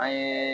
An ye